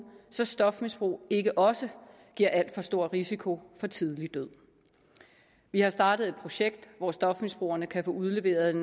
så stofmisbrug ikke også giver alt for stor risiko for tidlig død vi har startet et projekt hvor stofmisbrugerne kan få udleveret